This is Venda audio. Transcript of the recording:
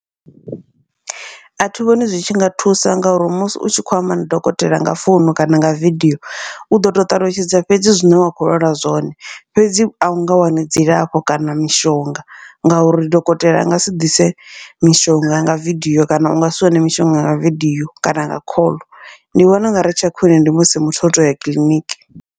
Athi vhoni zwi tshi nga thusa ngauri musi u tshi kho amba na dokotela nga founu kana nga vidio uḓo to ṱalutshedza fhedzi zwine wa kho lwala zwone, fhedzi au nga wani dzilafho kana mishonga. Ngauri dokotela a ngasi ḓise mishonga nga vidio kana u ngasi wane mishonga nga vidio kana nga khoḽo, ndi vhona ungari tsha khwiṋe ndi musi muthu o toya kiḽiniki.